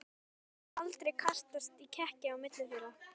Það hafði aldrei kastast í kekki á milli þeirra.